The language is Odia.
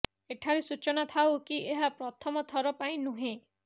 ଏଠାରେ ସୂଚନା ଥାଉ କି ଏହା ପ୍ରଥମ ଥର ପାଇଁ ନୁହେଁ